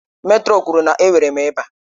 Mètrọn kwuru na enwere m ịba.